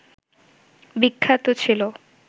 বিখ্যাত ছিল